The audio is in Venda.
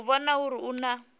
u vhona uri hu na